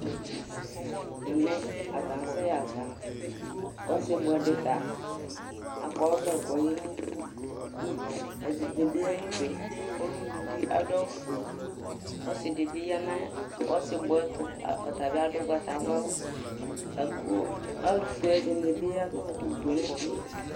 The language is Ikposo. ɛmɛ atani akasɛ ɣazã ku ɔsi buɛdita akɔ ɔʋlɛ ku oyeliɛɖini aya nu uɖue teŋu uluvi ɔlufue ɔsidibi yanu ɔsiɛ tu